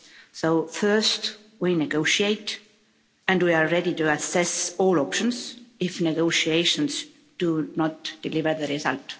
So, first, we negotiate and we are ready to assess all options if negotiations do not deliver the result.